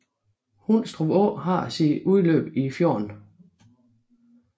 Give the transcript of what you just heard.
Hundstrup Å har sit udløb i fjorden